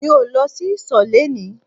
Mi ò lọ sí ìsò léni